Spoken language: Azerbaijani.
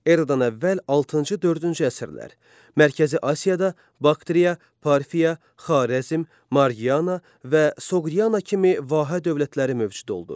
Eradan əvvəl altıncı-dördüncü əsrlər Mərkəzi Asiyada Baktriya, Parfiya, Xarəzm, Marqiana və Soqdiana kimi vahə dövlətləri mövcud oldu.